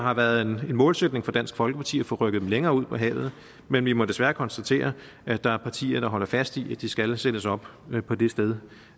har været en målsætning for dansk folkeparti at få rykket dem længere ud på havet men vi må desværre konstatere at der er partier der holder fast i at de skal sættes op på det sted